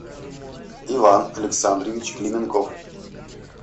иван александрович клименков